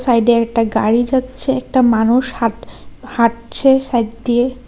সাইডে একটা গাড়ি যাচ্ছে একটা মানুষ হাট হাঁটছে সাইড দিয়ে।